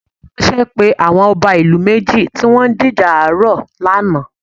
Ààrẹ̀ ránṣẹ́ pe àwọn ọba ìlú méjì tí wọn ń jíjà ààrọ̀ lánàá